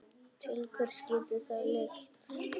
Til hvers getur það leitt?